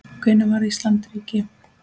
Hvenær varð Ísland ríki?